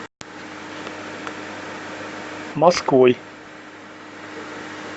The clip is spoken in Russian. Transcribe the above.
москвой